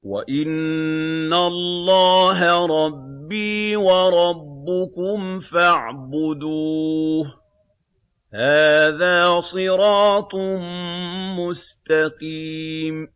وَإِنَّ اللَّهَ رَبِّي وَرَبُّكُمْ فَاعْبُدُوهُ ۚ هَٰذَا صِرَاطٌ مُّسْتَقِيمٌ